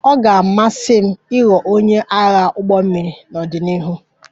Ọ ga-amasị m ịghọ onye agha ụgbọ mmiri n'ọdịnihu